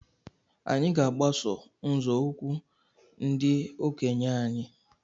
Anyị ga-agbaso nzọụkwụ ndi okenye anyị.